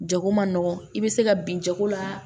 Jago man nɔgɔ i bɛ se ka bin jago la